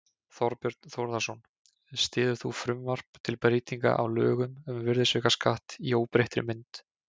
Þorbjörn Þórðarson: Styður þú frumvarp til breytinga á lögum um virðisaukaskatt í óbreyttri mynd?